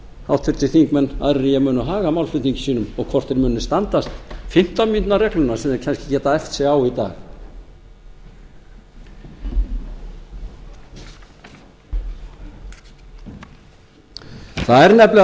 háttvirtir þingmenn aðrir en ég munu haga málflutningi sínum og hvort þeir muni standast fimmtán mínútna regluna sem þeir geta kannski æft sig á í dag það er